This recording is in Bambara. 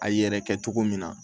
A yɛrɛ kɛ cogo min na